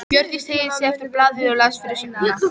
Hjördís teygði sig eftir blaðinu og las fyrirsögnina.